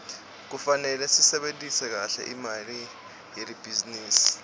kufanele sisebentise kahle imali yelibhizinisi